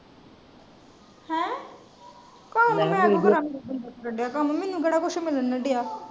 ਕੰਉ ਮੈਂ ਕਿਊ ਕਰਾਂਗੀ ਤੈਨੂੰ ਕਉ ਮੈਂ ਕੇਹਰ ਕੁਜ ਮਿਲਣ ਡਆ।